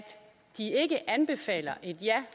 de ikke anbefaler et ja